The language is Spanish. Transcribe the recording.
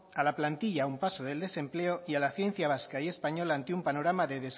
a la plantilla a un paso del desempleo y a la ciencia vasca y española ante un panorama